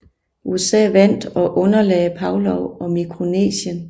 USA vandt og underlagde Palau og Mikronesien